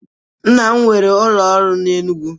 Nna m nwere ụlọ ọrụ n'Enugwu.